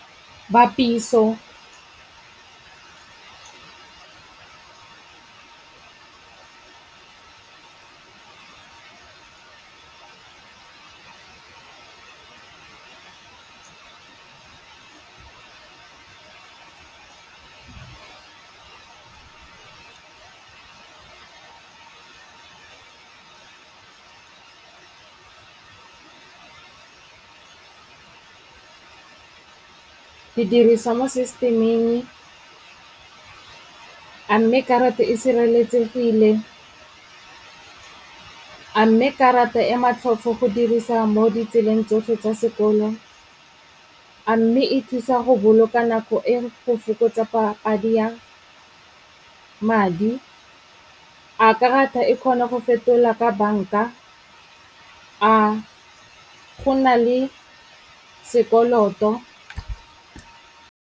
Bapiso ke dirisa mo system-eng. A mme karata e sireletsegile? A mme karata e matlhofo go dirisa mo ditseleng tsotlhe tsa sekolo? A mme e thusa go boloka nako e go fokotsega padi ya madi. A karata e kgona go fetola ka banka? A go na le sekoloto?